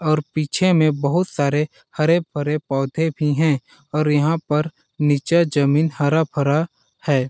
और पीछे में बहुत सारे हरे-भरे पौधे भी है और यहाँ पर निचे जमी हरा-भरा है।